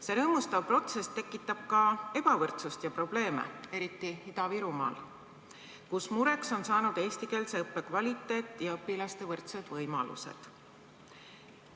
See rõõmustav protsess tekitab ka ebavõrdsust ja probleeme, eriti Ida-Virumaal, kus mureks on saanud eestikeelse õppe kvaliteet ja õpilaste võrdsed võimalused.